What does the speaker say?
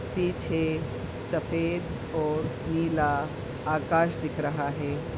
पीछे सफ़ेद और नीला आकाश दिख रहा है।